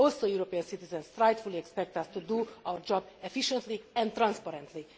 European citizens rightfully expect us to do our job efficiently and transparently.